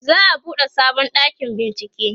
za'a buɗe sabon ɗakin bincieke